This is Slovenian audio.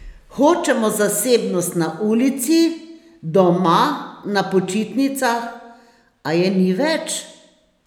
Hočemo zasebnost na ulici, doma, na počitnicah, a je ni več?